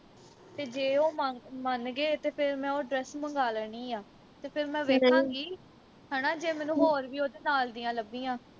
ਤੇ ਜੇ ਉਹ ਮੰਨ ਗੇ ਤੇ ਫਿਰ ਮੈਂ ਉਹ dress ਮੰਗਾ ਲੈਣੀ ਆ ਤੇ ਫਿਰ ਮੈਂ ਵੇਖਾਂਗੀ ਹਣਾ ਜੇ ਮੈਨੂੰ ਹੋਰ ਵੀ ਉਹਦੇ ਨਾਲ ਦੀਆਂ ਲੱਭੀਆ